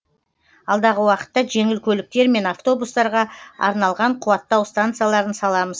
алдағы уақытта жеңіл көліктер мен автобустарға арналған қуаттау станцияларын саламыз